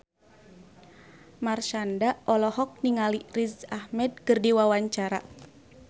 Marshanda olohok ningali Riz Ahmed keur diwawancara